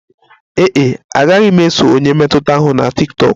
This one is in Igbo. Ee e, agaghị m eso onye mmetụta ahụ na tiktokụ